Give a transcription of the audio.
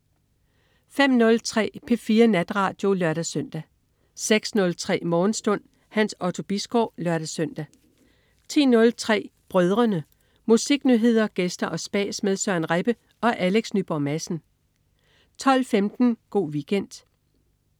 05.03 P4 Natradio (lør-søn) 06.03 Morgenstund. Hans Otto Bisgaard (lør-søn) 10.03 Brødrene. Musiknyheder, gæster og spas med Søren Rebbe og Alex Nyborg Madsen 12.15 Go' Weekend